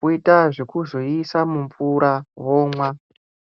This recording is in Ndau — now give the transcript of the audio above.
voita zvekuzoiisa mumvura ,vomwa.